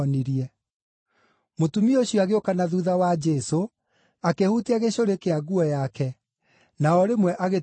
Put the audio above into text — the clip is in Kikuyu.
Mũtumia ũcio agĩũka na thuutha wa Jesũ, akĩhutia gĩcũrĩ kĩa nguo yake, na o rĩmwe agĩtiga kuura.